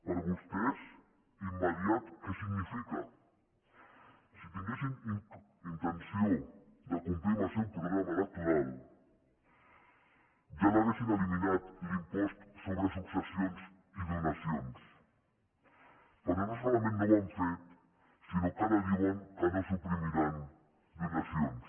per vostès immediat què significa si tinguessin intenció de complir amb el seu programa electoral ja l’haurien eliminat l’impost sobre successions i donacions però no solament no ho han fet sinó que ara diuen que no suprimiran donacions